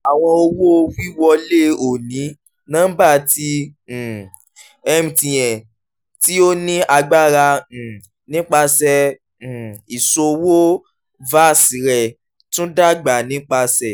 àwọn owó-wíwọlé òní-nọ́ḿba ti um mtn tí ó ní agbára um nípasẹ̀ um iṣowo vas rẹ̀ tún dàgbà nípasẹ̀